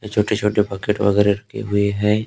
छोटे-छोटे बकेट वगैरा रखे हुए हैं --